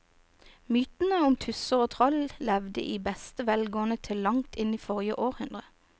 Mytene om tusser og troll levde i beste velgående til langt inn i forrige århundre.